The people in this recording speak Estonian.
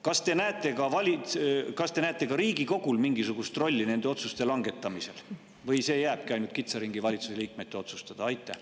Kas te näete ka Riigikogul mingisugust rolli nende otsuste langetamisel või see jääbki ainult kitsa ringi valitsuse liikmete otsustada?